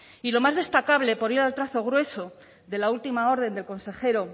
y lo más destacable por ir al trazo grueso de la última orden del consejero